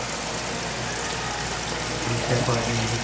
ਠੀਕ ਏ ਭਾਜੀ.